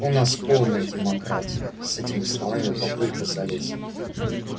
у нас полная демократия с этими словами папулька залез